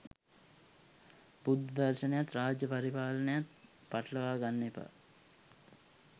බුද්ධ දර්ශනයත් රාජ්‍ය පරිපාලනයත් පටලවා ගන්න එපා.